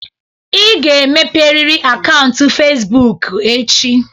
Ị ga-emepe riri akaụntụ Fezbụk echi!